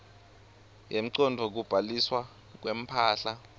yemcondvo kubhaliswa kwemphahla